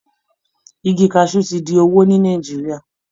Igi kaṣú ti di owó ní Nàìjíríà